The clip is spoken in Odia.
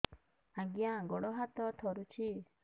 ଆଜ୍ଞା ଗୋଡ଼ ହାତ ଥରୁଛି